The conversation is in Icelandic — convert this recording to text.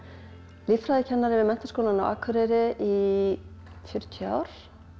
líffræðikennari við Menntaskólann á Akureyri í fjörutíu ár